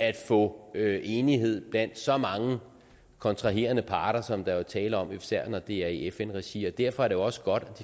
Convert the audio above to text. at få enighed blandt så mange kontraherende parter som der jo er tale om især når det er i fn regi og derfor er det også godt at